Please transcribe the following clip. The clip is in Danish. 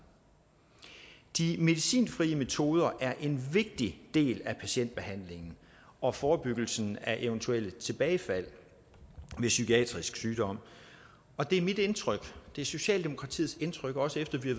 de medicinfrie metoder er en vigtig del af patientbehandlingen og forebyggelsen af eventuelle tilbagefald ved psykiatrisk sygdom og det er mit indtryk det er socialdemokratiets indtryk også efter vi